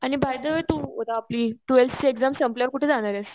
आणि by the way तू आपली टवेल्थ ची एक्साम संपल्यावर कुठे जाणारेस?